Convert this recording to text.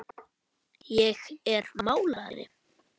Ég er málari.